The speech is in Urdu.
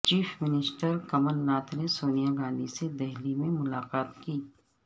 چیف منسٹر کمل ناتھ نے سونیا گاندھی سے دہلی میں ملاقات کی